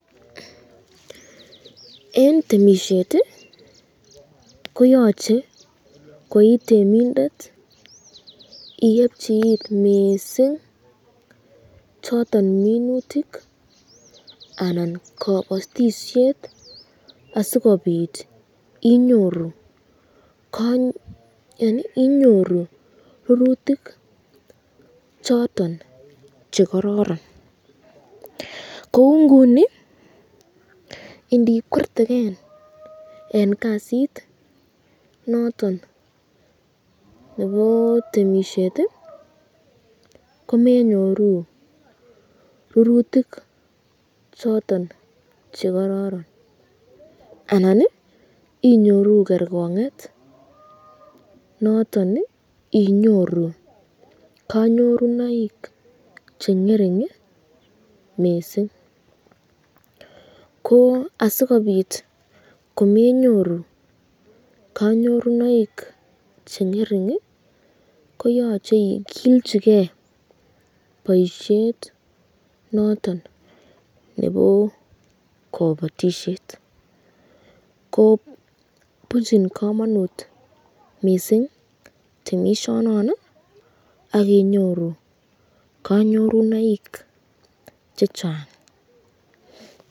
Eng temisyet koyache koi temindet iebchi it mising choton minutik anan kabatisyet asikobit inyoru rurutik choton chekororon, kou Nguni indikwerteken eng kasit noton nebo temisyet komenyoru rurutik choton chekororon anan inyoru kerkonget noton inyoru kanyorunoik chengering mising, ko asikobit komenyoru kanyorunoik chengering ko yachei ikilchiken boisyet noton nebo kabatisyet, ko bunchin kamanut mising temisyonon sk inyoru kanyorunoik chechang.